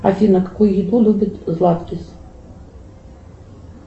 афина какую еду любит златки